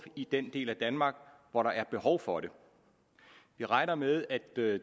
i den del af danmark hvor der er behov for det vi regner med at dette